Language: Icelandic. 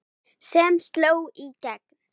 sem sló í gegn.